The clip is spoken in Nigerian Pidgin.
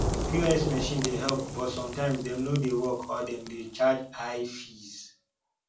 pos machine dey help but sometimes dem no dey work or dem dey charge high fees